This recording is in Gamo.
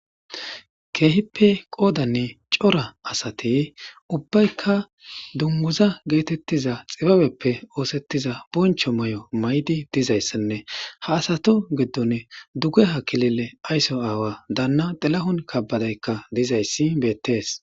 Keehippe qoodanne cora asate ubbaykka dunmuza geetettiza xibabeppe oosettiza boncho may'o may'di dizayssanne ha asato geddone duge ha kilile ayso aawa daanna delahon kabadaykka dizayssi beettees.